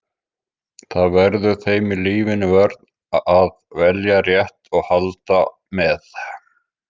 Það verður þeim í lífinu vörn að velja rétt og halda með.